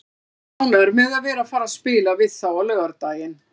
Ég er ánægður með að vera að fara að spila við þá á laugardaginn.